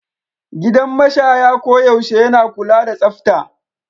Gidan mashaya koyaushe yana kula da tsafta.